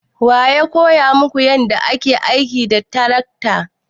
Wa ya koya maku yadda ake aiki da tarakta?